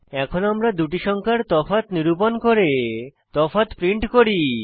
এখন আমরা দুটি সংখ্যার তফাৎ নিরূপণ করে তফাৎ প্রিন্ট করি